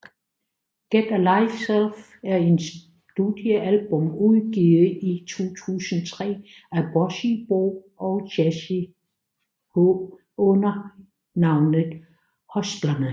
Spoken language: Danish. Get a Life Selv er et studiealbum udgivet i 2003 af Bossy Bo og Jazzy H under navnet Hustlerne